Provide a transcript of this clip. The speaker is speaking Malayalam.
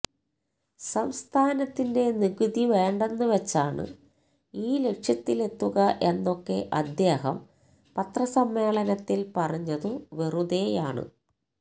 സംസ്ഥാനത്തിന്റെ നികുതി വേണ്ടെന്നു വച്ചാണ് ഈ ലക്ഷ്യത്തിലെത്തുക എന്നൊക്കെ അദ്ദേഹം പത്രസമ്മേളനത്തിൽ പറഞ്ഞതു വെറുതേയാണ്